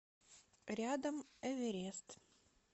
рядом эверест